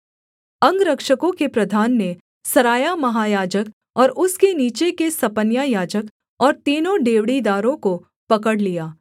अंगरक्षकों के प्रधान ने सरायाह महायाजक और उसके नीचे के सपन्याह याजक और तीनों डेवढ़ीदारों को पकड़ लिया